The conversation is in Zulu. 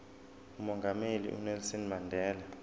umongameli unelson mandela